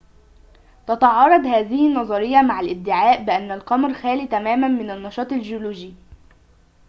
تتعارض هذه النظرية مع الادعاء بأن القمر خال تماماً من النشاط الجيولوجي